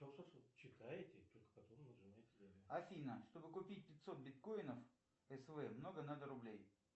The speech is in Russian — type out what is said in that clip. афина чтобы купить пятьсот биткоинов св много надо рублей